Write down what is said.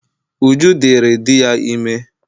Uju diri di ya ime